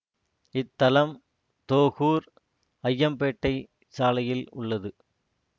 இத்தலம் தோகூர் அய்யம்பேட்டை சாலையில் உள்ளது